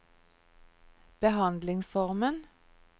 behandlingsformen